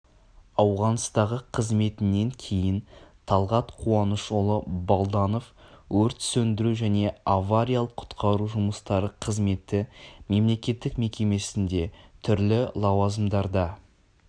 ауғанстандағы қызметінен кейін талғат қуанышұлы балданов өрт сөндіру және авариялық-құтқару жұмыстары қызметі мемлекеттік мекемесінде түрлі лауазымдарда